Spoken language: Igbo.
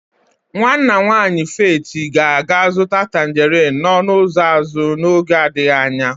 Nwanna nwanyị Faith ga-aga azụta tangerin n'ọnụ ụzọ azụ n'oge adịghị anya.